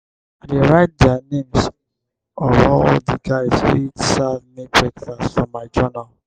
i dey write di names of all di guys wey serve me breakfast for my journal.